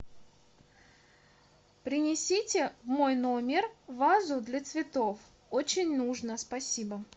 принесите в мой номер вазу для цветов очень нужно спасибо